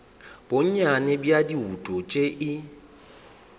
bonnyane bja dibouto tše e